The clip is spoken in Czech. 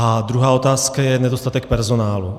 A druhá otázka je nedostatek personálu.